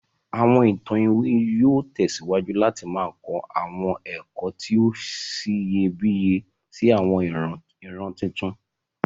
Àwọn Awọn ìtàn iwin yóò tẹ̀síwájú láti ma kọ àwọn ẹ̀kọ́ ti o siyẹbíyẹ si àwọn ìran tuntun.